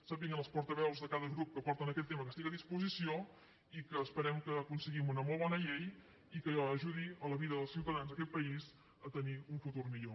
sàpiguen els portaveus de cada grup que porten aquest tema que estic a disposició i que esperem que aconseguim una molt bona llei i que ajudi a la vida dels ciutadans d’aquest país a tenir un futur millor